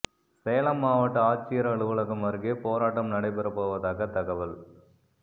சேலம் மாவட்ட ஆட்சியர் அலுவலகம் அருகே போராட்டம் நடைபெற போவதாக தகவல்